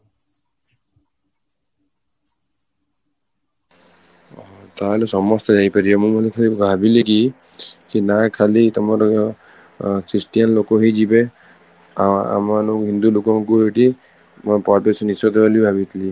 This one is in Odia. ତାହେଲେ ସମସ୍ତେ ଯାଇପାରିବେ ମୁଁ ଭାବିଲି କି ସେ ନା ଖାଲି ତମର christian ଲୋକ ହିଁ ଯିବେ ଆଁ ଆମ ହିନ୍ଦୁ ଲୋକଙ୍କୁ ସେଠି ପ୍ରବେଶ ନିଷେଧ ବୋଲି ଭାବିଥିଲି